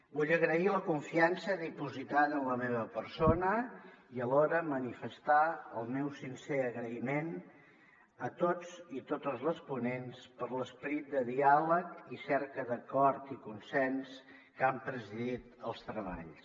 vull agrair la confiança dipositada en la meva persona i alhora manifestar el meu sincer agraïment a tots i totes les ponents per l’esperit de diàleg i cerca d’acord i consens que han presidit els treballs